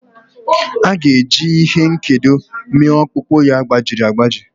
Jehova ga-eji ihe nkedo mee ọkpụkpụ ya gbajiri agbaji.